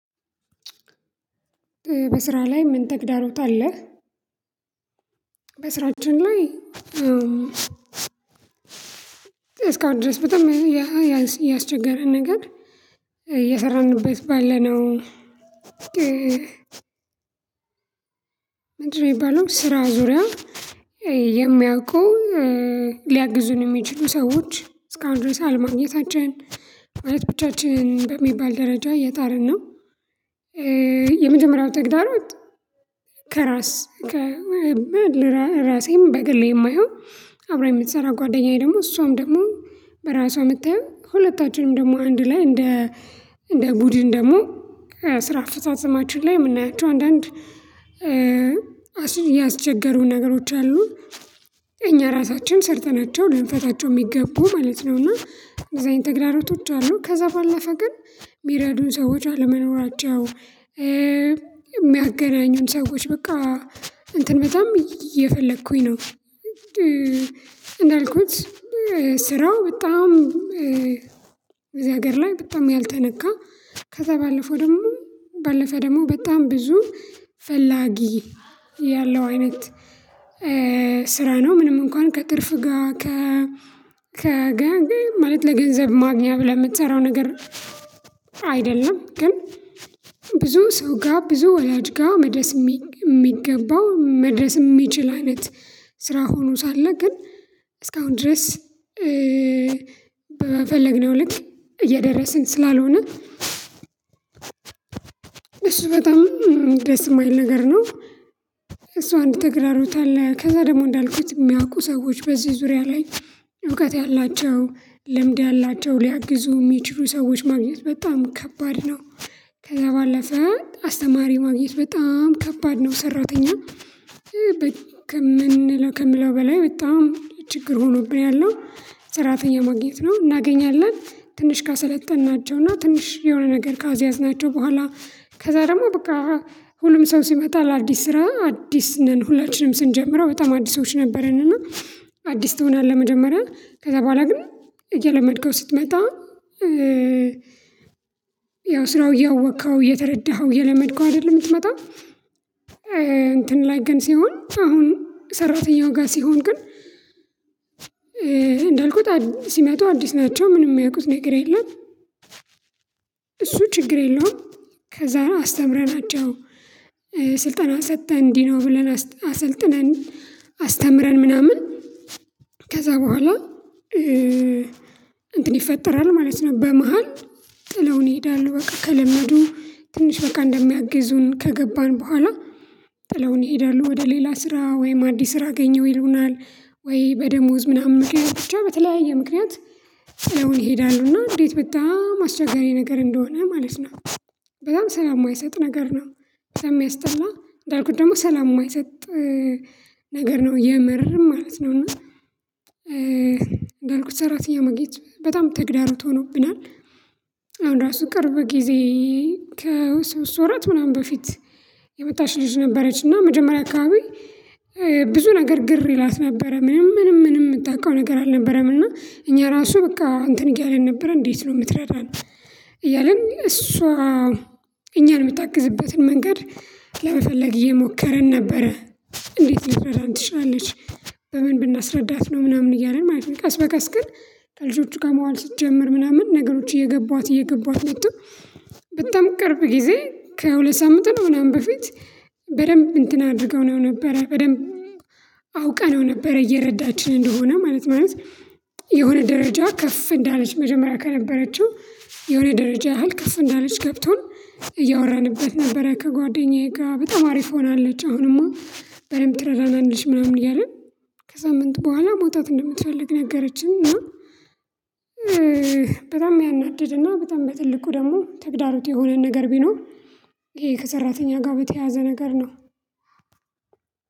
በስራ ላይ ምን ተግዳሮት አለህ? በስራችን ላይ እስካሁን ድረስ በጣም ያ ያስቸገረን ነገር እየሰራንበት ባለነው ምየጣርንእ የሚባለው ስራ ዙሪያ የሚያውቁን ሊያግዙን የሚችሉ ሰዎች እስካሁን ድረስ አልማግኘታችን ማለት ብቻችን በሚባል ደረጃ የጣርን ነው። የመጀመሪያው ተግዳሮት ከራስ ከራሴም በግሌ የማየው አብራኝ የምትሰራ ጓደኛዬ ደግሞ እሷም ደግሞ በራሷ የምታየው ሁለታችንም ደግሞ አንድ ላይ እንደ እንደ ቡድን ደግሞ ስራ አፈጻጸማችን ላይ የምናያቸው አንዳንድ ያስቸጋሩን ነገሮች አሉ። እኛ ራሳችን ሰርተናቸው ልንፈታቸው የሚገቡ ማለት ነው እና እንደዚህ አይነት ተግራሮቶች አሉ ከዛ ባለፈ ግን የሚረዱን ሰዎች አለመኖራቸው። ኧ የሚያገናኙን ሰዎች በቃ እንትን በጣም እየፈለኩኝ ነው ኧ። እንዳልኩት ስራው በጣም በዚህ ነገር ላይ በጣም ያልተነካ ከዛ ባለፈው ደግሞ ባለፈ ደግሞ በጣም ብዙ ፈላጊ ያለው አይነት ኧ ስራ ነው። ምንም እንኳን ከትርፍ ጋር ከ ከ ገ ጋር ለገንዘብ ማግኛ ብለህ የምትሰራው ነገር አይደለም። ግን ብዙ ሰው ጋር ብዙ ወላጅ ጋር መድረስ የሚገባው መድረስ የሚችል አይነት ስራ ሆኖ ሳለ ግን እስካሁን ድረስ ኧ ስራው በጣም በዚህ ሀገር ላይ በጣም ያልተነካ ከዛ ባለፈው ደግሞ ባለፈ ደግሞ በጣም ብዙ ፈላጊ ያለው አይነት ኧ እሱ በጣም ደስ የማይል ነገር ነው። እሱ አንድ ተግዳሮት አለ ከዛ ደግሞ እንዳልኩት የሚያውቁ ሰዎች በዚህ ዙሪያ ላይ እውቀት ያላቸው ልምድ አላቸው ሊያግዙ የሚችሉ ሰዎች ማግኘት በጣም ከባድ ነው። ከዛ ባለፈ አስተማሪ ማግኘት በጣም ከባድ ነው። ሰራተኛ ከምንለው በላይ በጣም ችግር ሆኖብኝ ያለው ሰራተኛ ማግኘት ነው። እናገኛለን ትንሽ ካሰለጠንናቸው እና ትንሽ የሆነ ነገር ካስያዝናቸው በኋላ ከዛ ደግሞ በቃ ሁሉም ሰው ሲመጣ ለአዲስ ስራ አዲስ ነን ሁላችንም ስንጀምረው በጣም አዲሶች ነበሩ እና። አዲስ ትሆናለህ መጀመሪያ ከዛ በኋላ ግን እየለመድከው ስትመጣ ኧ ያው ስራው እያወቅከው እየተረዳኸው እየለመድከው አይደለም። የምትመጣው እ እንትን ላይ ግን ሲሆን አሁን ሰራተኛው ጋር ሲሆን ግን እንዳልኩት ሲመጡ አዲስ ናቸው ምንም የሚያውቁት ነገር የለም። እሱ ችግር የለውም። ከዛ አስተምረናቸው ስልጠና ሰተን እንዲህ ነው ብለን አሰልጥነን አስተምረን ምናምን ከዛ በኋላ እእ እንትን ይፈጠራል ማለት ነው። በመሃል ጥለውን ይሄዳሉ በቃ ከለመዱ ትንሽ በቃ እንደሚያግዙን ከገባን በኋላ ጥለውን ይሄዳሉ ወደ ሌላ ስራ ወይም አዲስ ስራ አገኘው ይሉናል ወይ በደሞዝ ምናምን ምክንያት ብቻ በተለያየ ምክንያት ጥለውን ይሄዳሉ እና እንዴት በጣም አስቸጋሪ ነገር እንደሆነ ማለት ነው። በጣም ሰላም የማይሰጥ ነገር ነው። ሰለሚያስጠላ እንዳልኩት ደግሞ ሰላም የማይሰጥ ነገር ነው የመረርም ማለት ነው እና ያልኩት ሰራተኛ መግኘት በጣም ተግዳሮት ሆኖብናል። አሁን ራሱ ቅርብ ጊዜ ከሶስት ወራት ምናምን በፊት የመጣች ልጅ ነበረች እና መጀመሪያ አካባቢ ብዙ ነገር ግር ይላት ነበረ ምንም ምንም ምንም የምታውቀው ነገር አልነበረም እና እኛ ራሱ በቃ እንትን እያለን ነበረ እንዴት ነው የምትረዳን? እያልን እሷ እኛን የምታግዝበትን መንገድ ለመፈለግ እየሞከርን ነበረ። እንዴት ልትረዳን ትችላለች? በምን ብናስረዳት ነው ምናምን እያልን ማለት ነው። ቀስ በቀስ ግን ከልጆቹ ጋር መዋል ስትጀምር ምናምን ነገሮች እየገቧት እየገቧት መጡ። በጣም ቅርብ ጊዜ ከሁለት ሳምንት ነው ምናምን በፊት በደንብ እንትን አድርገውናው ነበረ በደንብ አውቀነው ነበረ እየረዳችን እንደሆነ ማለት ማለት የሆነ ደረጃ ከፍ እንዳለች መጀመሪያ ከነበረችው የሆነ ደረጃ ያህል ከፍ እንዳለች ገብቶን እያወራንበት ነበረ። ከጓደኛዬ ጋር በጣም አሪፍ ሆናለች አሁንማ በደንብ ትረዳናለች ምናምን እያልን ከሳምንት በኋላ መውጣት እንደምትፈልግ ነገረችኝ እና። በጣም ያናድድና በጣም በትልቁ ደግሞ ተግዳሮት የሆነን ነገር ቢኖር ይሄ ከሰራተኛ ጋር በተያያዘ ነገር ነው።